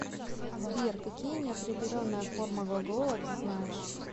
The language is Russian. сбер какие неопределенная форма глагола ты знаешь